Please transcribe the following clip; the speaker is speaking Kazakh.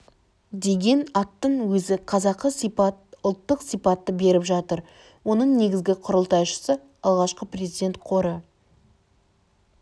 деген аттың өзі қазақы сипат ұлттық сипатты беріп жатыр оның негізгі құрылтайшысы алғашқы президент қоры